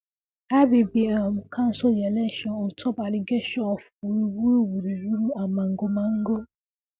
IBB um cancel di election ontop allegation of wuruwuru wuruwuru and magomago